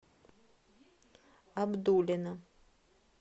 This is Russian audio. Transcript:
абдулино